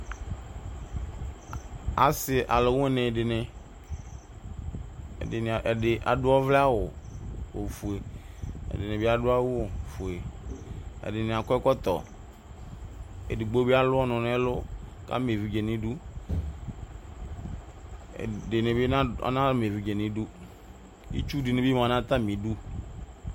osividi adu ɔvlɛ awʋ kadu ʋfanɛmɔ kewu ewuɛku nunuku kʋ ʋlʋvidi ya nayɛtʋ ew etsue ɛkʋkanla kʋkewele ala